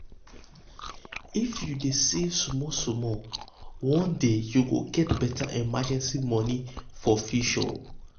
if you dey save small small one day you go get um better emergency money for future.